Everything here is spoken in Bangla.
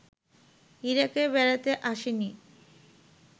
ইরাকে বেড়াতে আসেনি